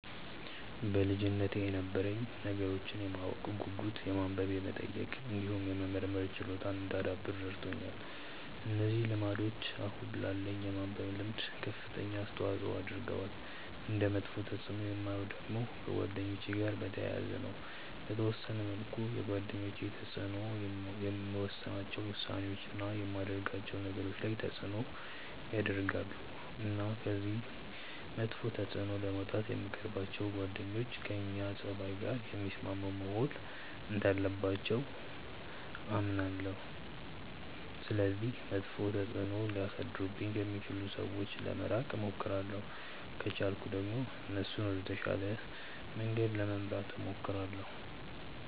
በልጅነቴ የነበረኝ ነገሮችን የማወቅ ጉጉት የማንበብ የመጠየቅ እንዲሁም የመመርመር ችሎታን እንዳዳብር ረድቶኛል። እነዚህ ልምዶች አሁን ላለኝ የማንበብ ልምድ ከፍተኛ አስተዋጽዖ አድርገዋል። እንደ መጥፎ ተፅእኖ የማየው ደግሞ ከጓደኛ ጋር በተያያዘ ነው። በተወሰነ መልኩ የጓደኞች ተጽእኖ የምወስናቸው ውሳኔዎች፣ እና የማደርጋቸው ነገሮች ላይ ተጽእኖ ያረጋል። እና ከዚህ መጥፎ ተጽእኖ ለመውጣት የምንቀርባቸው ጓደኞች ከእኛ ፀባይ ጋር የሚስማሙ መሆን እንዳለባቸው አምናለሁ። ስለዚህ መጥፎ ተጽእኖ ሊያሳድሩብኝ ከሚችሉ ሰዎች ለመራቅ እሞክራለሁ። ከቻልኩ ደግሞ እነሱንም ወደ ተሻለ መንገድ ለመምራት እሞክራለሁ።